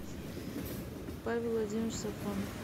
павел владимирович сафронов